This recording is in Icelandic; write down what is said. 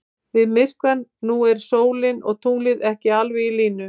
Við myrkvann nú eru sólin og tunglið ekki alveg í línu.